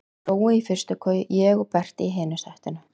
Brói í fyrstu koju, ég og Berti í hinu settinu.